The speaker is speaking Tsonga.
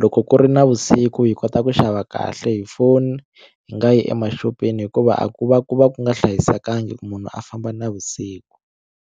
loko ku ri navusiku hi kota ku xava kahle hi foni hi nga yi emaxopeni hikuva a ku va ku va ku nga hlayisekangi ku munhu a famba navusiku.